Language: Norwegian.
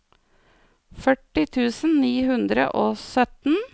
førti tusen ni hundre og sytten